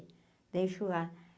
Da enxurrada.